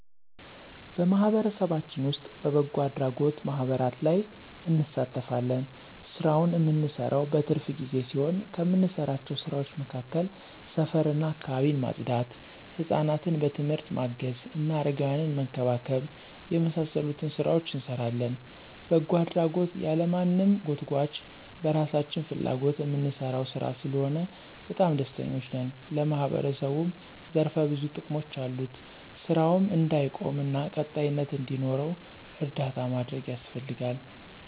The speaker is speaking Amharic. በማህበረሰባችን ዉስጥ በበጎ አድራጎት ማህበራት ላይ እንሳተፋለን። ስራውን እምንሰራው በትርፍ ጊዜ ሲሆን ከምንሰራቸው ስራዎች መካከል ሰፈር እና አካባቢን ማፅዳት፣ ሕፃናትን በትምህርት ማገዝ እና አረጋውያንን መንከባከብ የመሳሰሉትን ሥራዎች እንሰራለን። በጎ አድራጎት ያለማንም ጎትጉአች በራሳችን ፍላጎት እምንሰራው ሥራ ስለሆነ በጣም ደስተኞች ነን። ለማህበረሰቡም ዘርፈ ብዙ ጥቅሞች አሉት። ስራውም እንዳይቆም እና ቀጣይነት እንዲኖረው እርዳታ ማድረግ ያስፈልጋል።